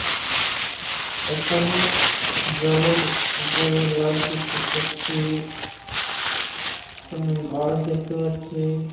এখানে জলের ওপরে লাইট দেখতে পাচ্ছি এখানে গাছ দেখতে পাচ্ছি ।